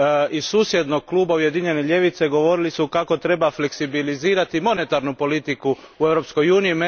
Iz susjednog kluba Ujedinjene ljevice govorili su kako treba fleksibilizirati monetarnu politiku u Europskoj uniji.